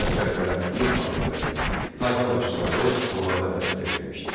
Sərkərdələr, din xadimləri, tayfa başçıları Muğana dəvət edilmişdi.